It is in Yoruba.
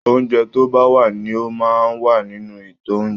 Oúnjẹ tó bá wà ní o máa n wà nínú ito oúnjẹ.